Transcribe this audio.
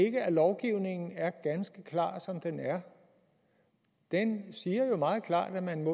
ikke at lovgivningen er ganske klar som den er den siger jo meget klart at man